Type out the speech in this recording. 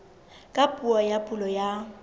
ka puo ya pulo ya